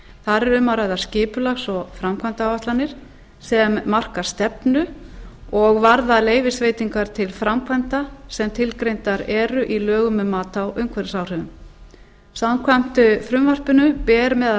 þar er um að ræða skipulags og framkvæmdaáætlanir sem marka stefnu og varða leyfisveitingar til framkvæmda sem tilgreindar eru í lögum um mat á umhverfisáhrifum samkvæmt frumvarpinu ber meðal